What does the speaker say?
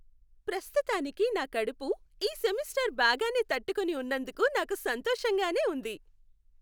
ప్రస్తుతానికి నా కడుపు, ఈ సెమిస్టర్ బాగానే తట్టుకుని ఉన్నందుకు నాకు సంతోషంగానే ఉంది.